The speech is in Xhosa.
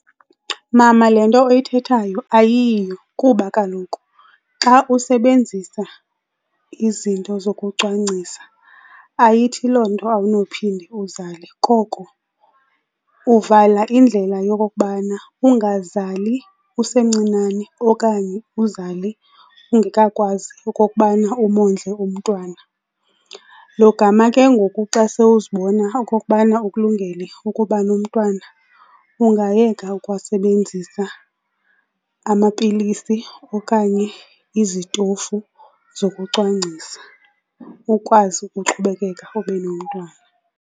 Mama le nto oyithethayo ayiyiyo kuba kaloku xa usebenzisa izinto zokucwangcisa ayithi loo nto awunophinde uzale koko uvala indlela yokokubana ungazali usemncinane okanye uzale ungekakwazi okokubana umondle umntwana. Logama ke ngoku xa sewuzibona okokubana ukulungele ukuba nomntwana ungayeka ukuwasebenzisa amapilisi okanye izitofu zokucwangcisa, ukwazi ukuqhubekeka ube nomntwana.